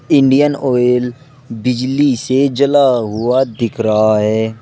Indian Oil बिजली से जला हुआ दिख रहा है।